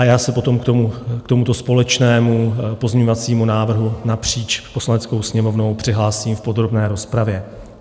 A já se potom k tomuto společnému pozměňovacímu návrhu napříč Poslaneckou sněmovnou přihlásím v podrobné rozpravě.